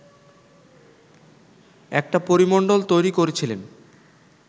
একটা পরিমণ্ডল তৈরি করেছিলেন